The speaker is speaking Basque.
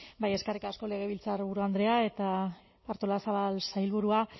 bai eskerrik asko legebiltzarburu andrea eta artolazabal sailburua